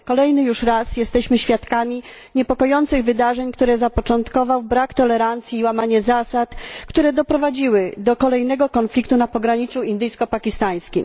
Kolejny już raz jesteśmy świadkami niepokojących wydarzeń, które zapoczątkował brak tolerancji i łamanie zasad i które doprowadziły do kolejnego konfliktu na pograniczu indyjsko pakistańskim.